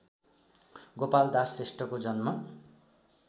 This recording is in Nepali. गोपालदास श्रेष्ठको जन्म